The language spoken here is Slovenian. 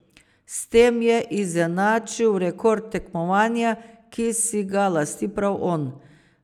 S tem je izenačil rekord tekmovanja, ki si ga lasti prav on.